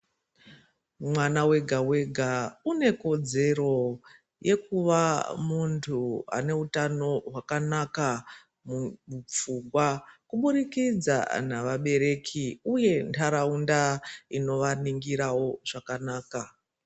Mwana wega wega une kodzero yekuva muntu ane utano hwakanaka mumupfungwa kubudikidza ngevabereki uye ntaraunda inovaningira zvakanaka.